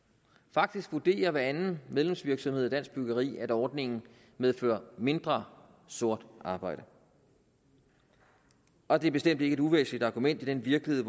faktisk vurderer hver anden medlemsvirksomhed af dansk byggeri at ordningen medfører mindre sort arbejde og det er bestemt ikke et uvæsentligt argument i den virkelighed